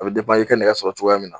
A bɛ i y'i ka nɛgɛ sɔrɔ cogoya min na.